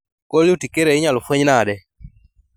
Cold urticaria inyalo fueny nade